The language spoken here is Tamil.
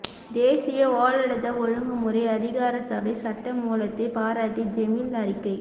தேசிய ஒளடத ஒழுங்குமுறை அதிகாரசபை சட்ட மூலத்தை பாராட்டி ஜெமீல் அறிக்கை